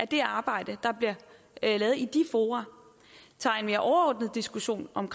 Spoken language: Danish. det arbejde der bliver lavet i de fora tager en mere overordnet diskussion om